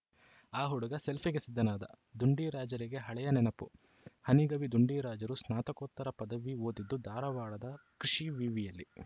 ಆ ಹುಡುಗ ಸೆಲ್ಫಿಗೆ ಸಿದ್ಧನಾದ ಡುಂಡಿರಾಜರಿಗೆ ಹಳೆಯ ನೆನಪು ಹನಿಗವಿ ಡುಂಡಿರಾಜರು ಸ್ನಾತಕೋತ್ತರ ಪದವಿ ಓದಿದ್ದು ಧಾರವಾಡ ಕೃಷಿ ವಿವಿಯಲ್ಲಿ